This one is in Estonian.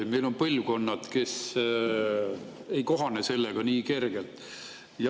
Meil on põlvkonnad, kes ei kohane sellega nii kergelt.